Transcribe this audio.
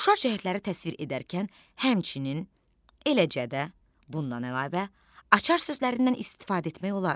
Oxşar cəhətləri təsvir edərkən həmçinin, eləcə də, bundan əlavə açar sözlərindən istifadə etmək olar.